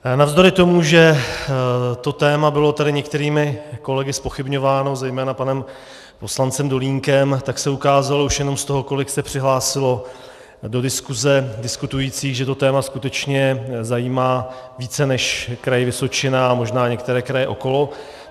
Navzdory tomu, že to téma bylo tady některými kolegy zpochybňováno, zejména panem poslancem Dolínkem, tak se ukázalo už jenom z toho, kolik se přihlásilo do diskuse diskutujících, že to téma skutečně zajímá více než Kraj Vysočina a možná některé kraje okolo.